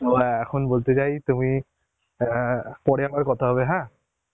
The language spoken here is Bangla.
ও হ্যাঁ এখন বলতে চাই তুমি অ্যাঁ পরে আবার কথা হবে হ্যাঁ